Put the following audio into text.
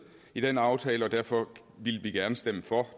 i den aftale og derfor ville vi gerne stemme for